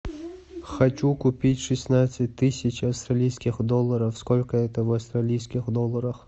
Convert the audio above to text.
хочу купить шестнадцать тысяч австралийских долларов сколько это в австралийских долларах